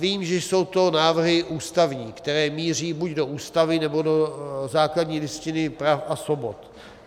Vím, že jsou to návrhy ústavní, které míří buď do Ústavy, nebo do základní listiny práv a svobod.